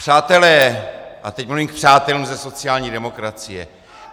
Přátelé, a teď mluvím k přátelům ze sociální demokracie.